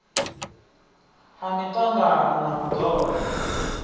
a miṱangano na u ḓola